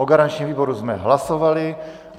O garančním výboru jsme hlasovali.